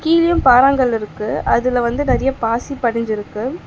கீழியு பாராங்கல்லு இருக்கு அதுல வந்து நெறைய பாசி படிஞ்சிருக்கு.